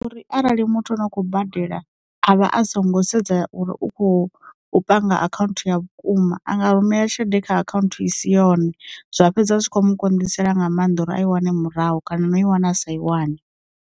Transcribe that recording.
Uri arali muthu ano khou badela, avha a songo sedza uri u khou panga akhaunthu ya vhukuma anga rumela tshelede kha akhaunthu i si yone, zwa fhedza zwi kho mu konḓisela nga maanḓa uri a i wane murahu kana no i wana a sa i wane.